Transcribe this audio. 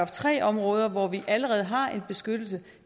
tre områder hvor vi allerede har en beskyttelse